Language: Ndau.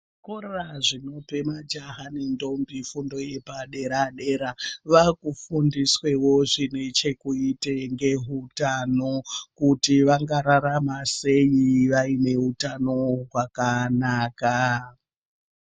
Zvikora zvinope majaha nendombi fundo yepadera-dera, vaakufundiswawo zvine chekuita ngeutano, kuti vangararama sei vaine utano wakanaka.